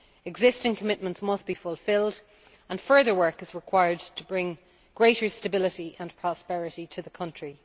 Existing commitments must be fulfilled and further work is required to bring greater stability and prosperity to the country.